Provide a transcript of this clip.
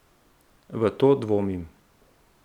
V to dvomim.